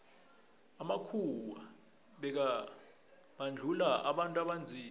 amakhuwa bekabandluua abantu abanzima